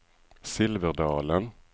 Silverdalen